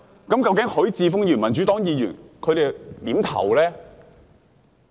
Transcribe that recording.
究竟許智峯議員、民主黨議員他們會如何投票呢？